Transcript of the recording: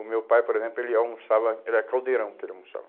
O meu pai, por exemplo, ele almoçava, era caldeirão que ele almoçava.